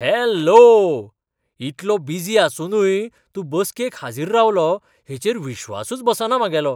Hello! इतलो busy आसुनूय तूं बसकेक हाजीर रावलो हेचेर विस्वासूच बसना म्हागेलो!